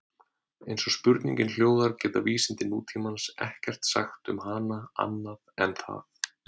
Eins og spurningin hljóðar geta vísindi nútímans ekkert sagt um hana annað en það.